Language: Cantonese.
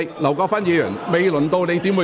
劉國勳議員，請提問。